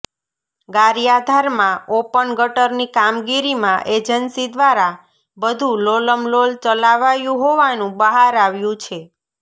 ગારિયાધારમાં open ગટરની કામગીરીમાં agency દ્વારા બધુ લોલમલોલ ચલાવાયુ હોવાનુ બહાર આવ્યુ છે